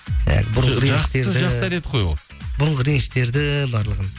жақсы әдет қой ол бұрынғы реніштерді барлығын